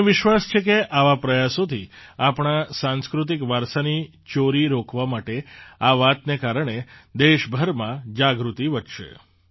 મને વિશ્વાસ છે કે આવા પ્રયાસોથી આપણા સાંસ્કૃતિક વારસાની ચોરી રોકવા માટે આ વાતને કારણે દેશભરમાં જાગૃતિ વધશે